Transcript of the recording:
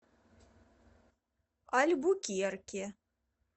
альбукерке